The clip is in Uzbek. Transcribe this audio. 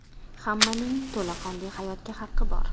Hammaning to‘laqonli hayotga haqqi bor.